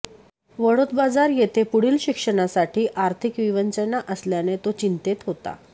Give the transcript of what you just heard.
वडोदबाजार येथे पुढील शिक्षणासाठी आर्थिक विवंचना असल्याने तो चिंतेत होता